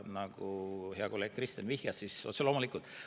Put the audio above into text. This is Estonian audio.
Nagu hea kolleeg Kristen ütles, siis otse loomulikult.